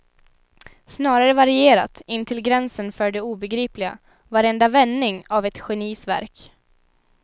Snarare varierat intill gränsen för det obegripliga, varenda vändning av ett genis verk.